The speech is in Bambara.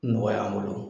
Nɔgɔya n bolo